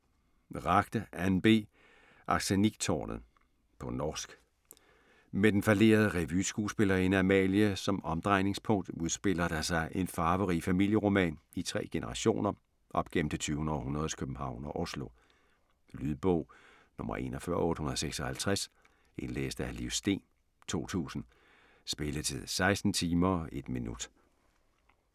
Ragde, Anne B.: Arsenikktårnet På norsk. Med den fallerede revyskuespillerinde Amalie som omdrejningspunkt udspiller der sig en farverig familieroman i tre generationer op gennem det tyvende århundredes København og Oslo. Lydbog 41856 Indlæst af Liv Steen, 2002. Spilletid: 16 timer, 1 minutter.